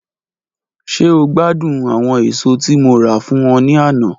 Ṣe o gbadun awọn eso ti Mo ra fun ọ ni ana?